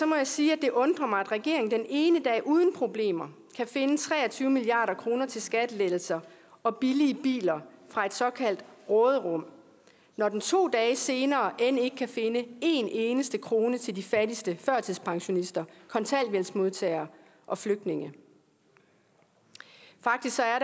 må jeg sige at det undrer mig at regeringen den ene dag uden problemer kan finde tre og tyve milliard kroner til skattelettelser og billige biler fra et såkaldt råderum når den to dage senere end ikke kan finde en eneste krone til de fattigste førtidspensionister kontanthjælpsmodtagere og flygtninge faktisk er